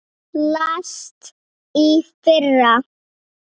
Hann lést í fyrra.